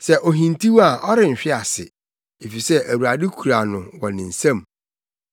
Sɛ ohintiw a ɔrenhwe ase, efisɛ Awurade kura no wɔ ne nsam.